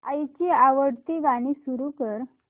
आईची आवडती गाणी सुरू कर